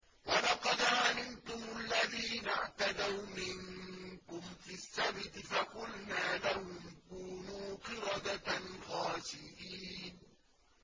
وَلَقَدْ عَلِمْتُمُ الَّذِينَ اعْتَدَوْا مِنكُمْ فِي السَّبْتِ فَقُلْنَا لَهُمْ كُونُوا قِرَدَةً خَاسِئِينَ